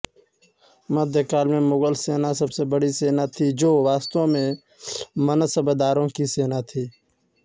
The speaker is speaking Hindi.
मध्यकाल में मुगल सेना सबसे बड़ी सेना थी जो वास्तव में मनसबदारों की सेना थी